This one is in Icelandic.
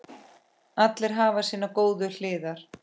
Allir hafa sínar góðu hliðar.